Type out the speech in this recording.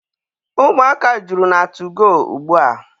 Ụmụaka juru na tugoo ugbua.